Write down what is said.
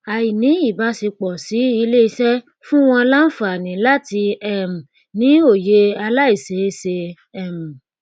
àìní ìbáṣepọ sí ilé iṣẹ fún wọn lánfààní láti um ní òye àláìṣeé ṣe um